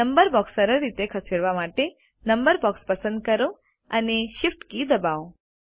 number box સરળ રીતે ખસેડવા માટે નંબર બોક્સ પસંદ કરો અને Shift કી દબાવો